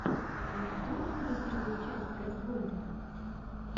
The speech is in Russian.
ты найдешь у себя первую часть газгольдера